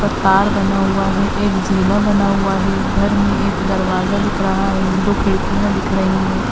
पर तार बना हुआ है। एक जीना बना हुआ है। घर में एक दरवाजा दिख रहा है। एक दो खिड़कियाँ दिख रही हैं।